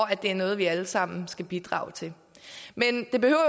at det er noget vi alle sammen skal bidrage til men det behøver